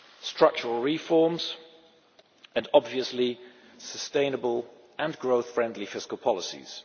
structural reforms and, obviously, sustainable and growth friendly fiscal policies.